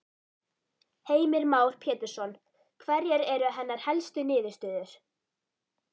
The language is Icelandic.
Heimir Már Pétursson: Hverjar eru hennar helstu niðurstöður?